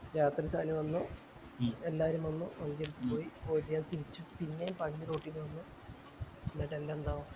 രാത്രി ഷാനി വന്നു എല്ലാരും വന്നു എല്ലാരും വന്നും വണ്ടി എടുത്തു പോയി തിരിച്ചു പിന്നേം ന്നിട്ട് എന്നെ എന്നാ